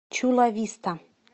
чула виста